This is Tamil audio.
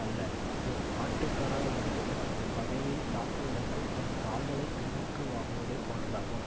அல்ல அது ஆட்டுக்கடா ஒன்று தனது பகையை தாக்குவதற்குத் தன் கால்களைப் பின்னுக்கு வாங்குவதைப் போன்றதாகும்